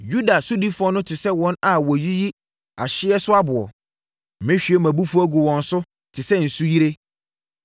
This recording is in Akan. Yuda sodifoɔ no te sɛ wɔn a wɔyiyi ahyeɛso aboɔ. Mɛhwie mʼabufuo agu wɔn so te sɛ nsuyire.